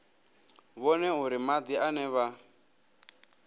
vhone uri madi ane vha